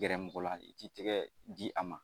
Gɛrɛ mɔgɔ la i k'i tɛgɛ di a ma